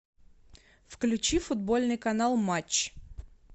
включи футбольный канал матч